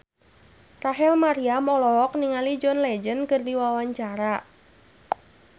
Rachel Maryam olohok ningali John Legend keur diwawancara